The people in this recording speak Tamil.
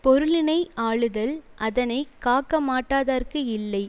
பொருளினை யாளுதல் அதனை காக்க மாட்டாதார்க்கு இல்லை